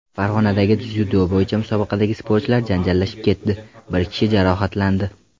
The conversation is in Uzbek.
Farg‘onadagi dzyudo musobaqasida sportchilar janjallashib ketdi, bir kishi jarohatlandi.